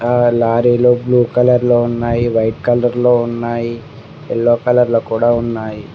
ఆ లారీలు blue colour లో ఉన్నాయి వైట్ కలర్ లో ఉన్నాయి యెల్లో కలర్ లో కూడా ఉన్నాయి.